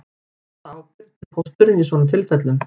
Hvaða ábyrgð ber pósturinn í svona tilfellum